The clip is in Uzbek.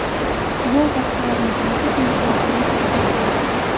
Bu miqdorning o‘zi imtiyozli”, dedi vazir.